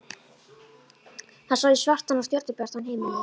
Það sá í svartan og stjörnubjartan himininn.